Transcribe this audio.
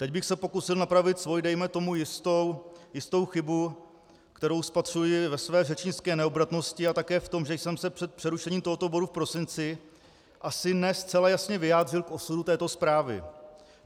Teď bych se pokusil napravit svoji, dejme tomu, jistou chybu, kterou spatřuji ve své řečnické neobratnosti a také v tom, že jsem se před přerušením tohoto bodu v prosinci asi ne zcela jasně vyjádřil k osudu této zprávy.